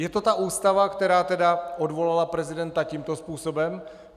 Je to ta ústava, která tedy odvolala prezidenta tímto způsobem?